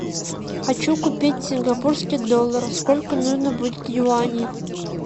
хочу купить сингапурский доллар сколько нужно будет юаней